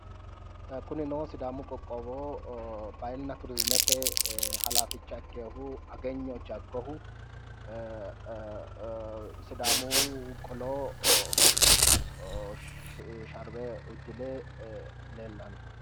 Kunino sidaamu qoqqowo bahilina turzimete halaaficha ikkinohu ageyno jagohu sidaamu qolo sharbe uddire leellano.